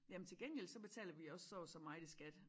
Jamen til gengæld så betaler vi også så og så meget i skat